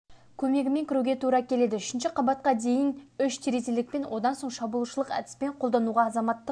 көмегімен кіруге тура келеді үшінші қабатқа дейін үш тізерлілікпен одан соң шабуылшылық әдісін қолдануда азаматтық